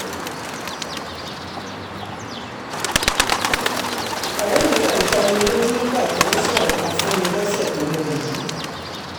ọ̀rẹ́ mi kan já omi lójú nígbà tó ń sọ̀rọ̀ kan fún mi lọ́sẹ̀ tó lọ yìí